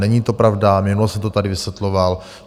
Není to pravda, minule jsem to tady vysvětloval.